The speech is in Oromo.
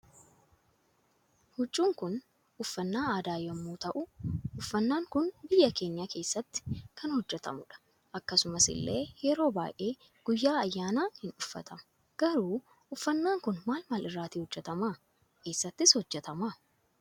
Huccun Kun uffannaa aadaa yommuu ta'u uffannan Kun biyya keenya keessatti kan hojjetamudha akkasumas illee yeroo baay'ee guyyaa ayyaana ni uffatama garuu uffannan Kun maal maal irraati hojjetama essattis hojjetama?